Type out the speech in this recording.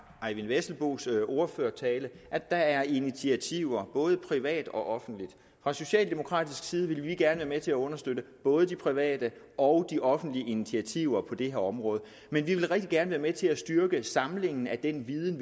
eyvind vesselbos ordførertale at der er initiativer både privat og offentligt fra socialdemokratisk side vil vi gerne være med til at understøtte både de private og de offentlige initiativer på det her område vi vil rigtig gerne være med til at styrke en samling af den viden